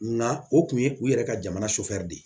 Na o tun ye u yɛrɛ ka jamana sofɛrɛn de ye